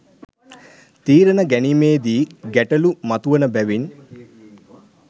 තීරණ ගැනීමේ දී ගැටලූ මතුවන බැවින්